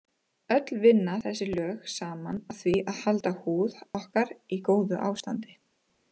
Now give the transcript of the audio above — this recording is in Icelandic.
Öll vinna þessi lög saman að því að halda húð okkur í góðu ástandi.